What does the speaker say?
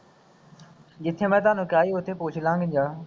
ਜਿੱਥੇ ਮੈਂ ਤੁਹਾਨੂੰ ਕਿਹਾ ਸੀ ਉੱਥੇ ਪੁੱਛ ਲਾਂ ਗੇ ਜਗ੍ਹਾ